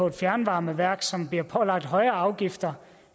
et fjernvarmeværk og som bliver pålagt højere afgifter